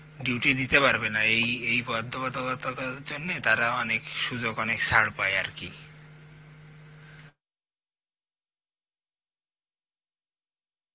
duty দিতে পারবে না এই এই বাদ্ধকতককতার জন্যে তারা অনেক সুযোগ অনেক ছার পায়ে আরকি